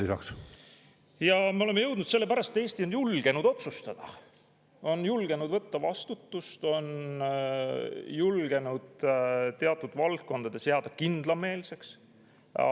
Ja me oleme jõudnud sellepärast, et Eesti on julgenud otsustada, on julgenud võtta vastutust, on julgenud teatud valdkondades jääda kindlameelseks.